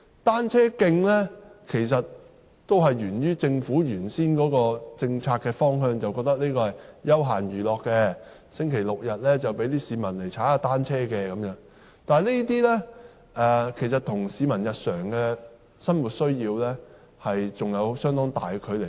單車徑的設立沿於政府最初的政策方向，認為單車是休閒娛樂工具，市民只在星期六、日踏單車，但這種看法其實與市民日常的生活需要有着相當大的距離。